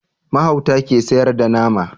Mahauta ke sayar da nama